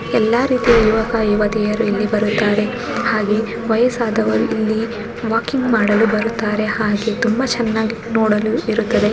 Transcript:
ಎಲ್ಲಾ ರೀತಿಯ ಯುವಕ ಯುವತಿಯರು ಇಲ್ಲಿ ಬರುತ್ತಾರೆ ಹಾಗೆ ವಯಸ್ಸಾದವರು ಇಲ್ಲಿ ವಾಕಿಂಗ್ ಮಾಡಲು ಬರುತ್ತಾರೆ ಹಾಗೆ ತುಂಬಾ ಚೆನ್ನಾಗಿ ನೋಡಲು ಇರುತ್ತದೆ.